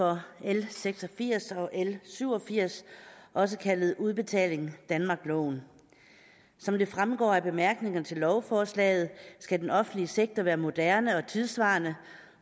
for l seks og firs og l syv og firs også kaldet udbetaling danmark loven som det fremgår af bemærkningerne til lovforslaget skal den offentlige sektor være moderne og tidssvarende